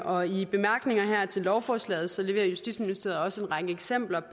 og i bemærkningerne til lovforslaget leverer justitsministeriet også en række eksempler